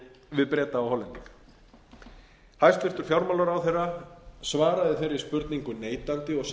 við breta og hollendinga hæstvirtur fjármálaráðherra svaraði þeirri spurningu neitandi og sagði að